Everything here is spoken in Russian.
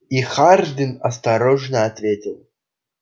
и хардин осторожно ответил